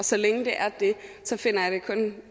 og så længe det er det finder jeg det kun